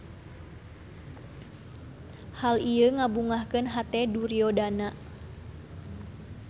Hal ieu ngabungahkeun hate Duryodana.